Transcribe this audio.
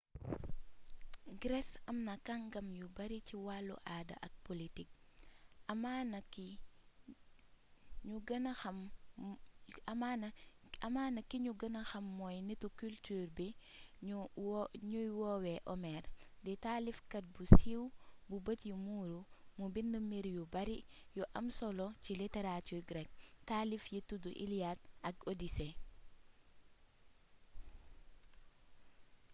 grece amna kàngam yu bari ci wàllu aada ak politique amaana ki ñu gëna xam mooy nitu culture bii ñuy woowe homère di taalifkat bu siiw bu bët yi muuru mu bind mbir yu bari yu am solo ci littérature grecque taalif yi tudd iliade ak odyssée